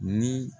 Ni